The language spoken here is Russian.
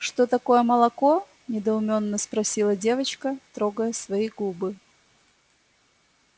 что такое молоко недоуменно спросила девочка трогая свои губы